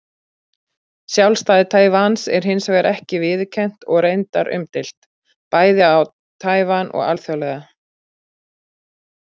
Sjálfstæði Taívans er hins vegar ekki viðurkennt og reyndar umdeilt, bæði á Taívan og alþjóðlega.